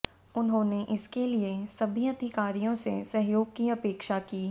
उन्होने इसके लिये सभी अधिकारियों से सहयोग की अपेक्षा की